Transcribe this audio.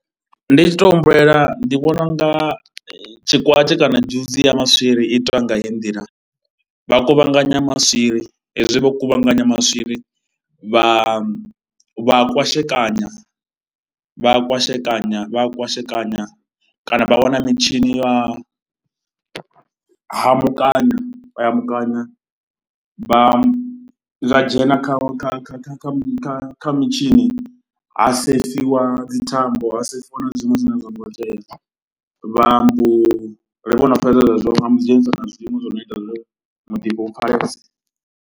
Ndi tshi tou humbulela ndi vhona u nga tshikwatshi kana dzhusi ya maswiri i itwa nga heyi nḓila, vha kuvhanganya maswiri, hezwi vho kuvhanganya maswiri vha a kwashekanya, vha kwashekanya vha a kwashekanya kana vha wana mitshini ya a hamukanya, hamukanya vha zwa dzhena kha kha kha mitshini ha sefiwa dzi thambo, ha sefiwa na zwiṅwe zwine a zwo ngo tea. Vha mbo, vho no fhedza zwezwo musi dzhenisa na zwiṅwe zwi no ita muḓifho u pfhalese.